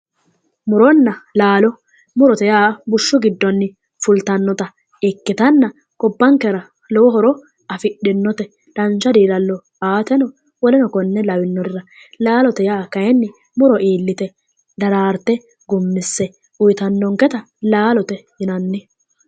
Muronna laalo, murote yaa bushshu giddonni fultannota ikkitanna gobbankera lowo horo afidhinnote dancha diilallo aateno woleno konne lawinorira laalote yaa kaayiinni muro iillite daraarte gummise uuyitannonketa laalote yinanni.